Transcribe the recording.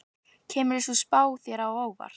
Kemur sú spá þér á óvart?